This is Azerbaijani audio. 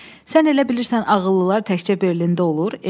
Sən elə bilirsən ağıllılar təkcə Berlində olur?